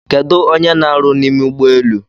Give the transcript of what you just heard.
Kedụ onye n'aru n'ime ụgbọelu?